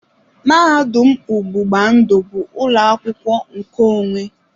Mahadum ọgbụgba ndụ bụ ụlọ akwụkwọ nkeonwe.